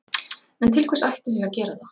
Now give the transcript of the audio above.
En til hvers ættum við að gera það?